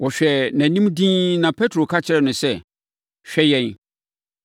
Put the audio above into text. Wɔhwɛɛ nʼanim dinn na Petro ka kyerɛɛ no sɛ, “Hwɛ yɛn!”